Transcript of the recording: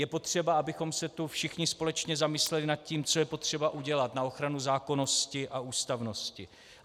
Je potřeba, abychom se tu všichni společně zamysleli nad tím, co je potřeba udělat na ochranu zákonnosti a ústavnosti.